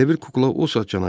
Elə bil kukla o saat cana gəldi.